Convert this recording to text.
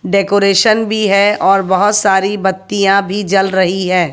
Decoration भी है और बहोत सारी बत्तियां भी जल रही है।